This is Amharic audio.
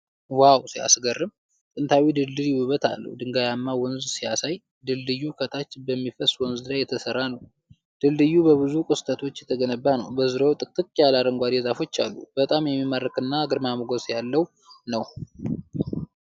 ዋው ሲያስገርም! ጥንታዊው ድልድይ ውበት አለው። ድንጋያማ ወንዝ ሲያሳይ! ድልድዩ ከታች በሚፈስ ወንዝ ላይ የተሰራ ነው። ድልድዩ በብዙ ቅስቶች የተገነባ ነው። በዙሪያው ጥቅጥቅ ያለ አረንጓዴ ዛፎች አሉ። በጣም የሚማርክና ግርማ ሞገስ ያለው ነው